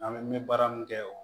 An bɛ baara min kɛ